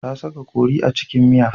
Ta saka kori a cikin miya.